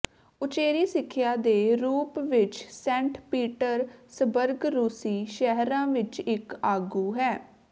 ਉਚੇਰੀ ਸਿੱਖਿਆ ਦੇ ਰੂਪ ਵਿੱਚ ਸੇਂਟ ਪੀਟਰਸਬਰਗ ਰੂਸੀ ਸ਼ਹਿਰਾਂ ਵਿੱਚ ਇੱਕ ਆਗੂ ਹੈ